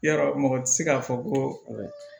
Yarɔ mɔgɔ tɛ se k'a fɔ ko